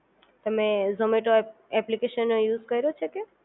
તમે ઝોમેટો એપ્લિકેશન નો યુઝ કર્યો છે કે